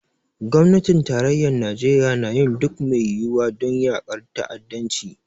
Gwamnatin tarayyar Najeriya na yin duk mai yiwuwa don yaƙar ta'addanci.